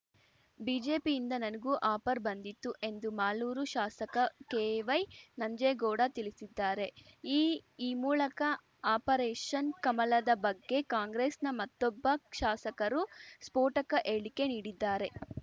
ಬಿಜೆಪಿಯಿಂದ ನನಗೂ ಆಫರ್‌ ಬಂದಿತ್ತು ಎಂದು ಮಾಲೂರು ಶಾಸಕ ಕೆವೈನಂಜೇಗೌಡ ತಿಳಿಸಿದ್ದಾರೆ ಈ ಈ ಮೂಲಕ ಆಪರೇಷನ್‌ ಕಮಲದ ಬಗ್ಗೆ ಕಾಂಗ್ರೆಸ್‌ನ ಮತ್ತೊಬ್ಬ ಶಾಸಕರು ಸ್ಫೋಟಕ ಹೇಳಿಕೆ ನೀಡಿದ್ದಾರೆ